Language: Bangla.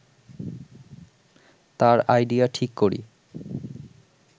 তার আইডিয়া ঠিক করি